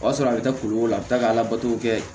O y'a sɔrɔ a bɛ taa ko la a bɛ taa ka labato kɛ